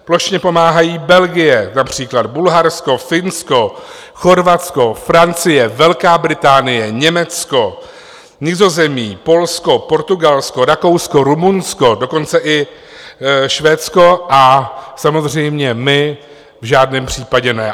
Plošně pomáhají Belgie například, Bulharsko, Finsko, Chorvatsko, Francie, Velká Británie, Německo, Nizozemí, Polsko, Portugalsko, Rakousko, Rumunsko, dokonce i Švédsko, a samozřejmě my v žádném případě ne.